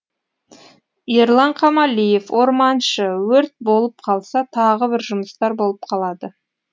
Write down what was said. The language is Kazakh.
ерлан қамалиев орманшы өрт болып қалса тағы бір жұмыстар болып қалады